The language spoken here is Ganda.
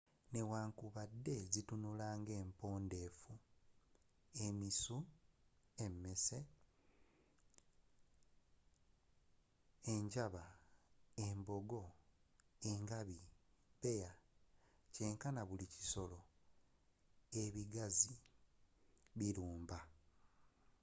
newankubadde zitunula nga empombefu emisu emmese enjaba embogo engabi bbeya kyenkana buli bisolo ebigazi bilumba